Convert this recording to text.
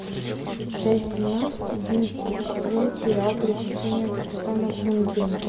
часть семнадцать одиннадцатый сезон сериал приключения капитана врунгеля